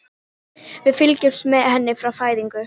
Við fylgjumst með henni frá fæðingu.